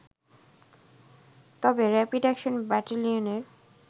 তবে rapid action ব্যাটেলিয়নের